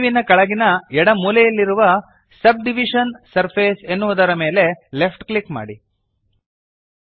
menu ವಿನ ಕೆಳಗಿನ ಎಡ ಮೂಲೆಯಲ್ಲಿರುವ ಸಬ್ಡಿವಿಷನ್ ಸರ್ಫೇಸ್ ಎನ್ನುವುದರ ಮೇಲೆ ಲೆಫ್ಟ್ ಕ್ಲಿಕ್ ಮಾಡಿರಿ